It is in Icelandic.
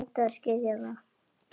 Reyndu að skilja það.